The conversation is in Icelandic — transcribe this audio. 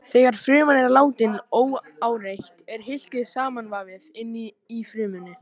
Þegar fruman er látin óáreitt er hylkið samanvafið inni í frumunni.